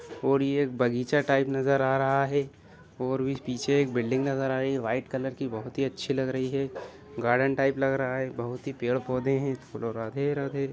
और ये एक बगीचा टाइप नजर आ रहा है और भी पीछे बिल्डिंग नजर आ रही है व्हाइट कलर की बहुत ही अच्छी लग रही है गार्डन टाइप लग रहा है बहुत ही पेड़-पौधे हैं बोलो राधे राधे।